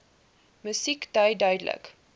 musiek dui duidelik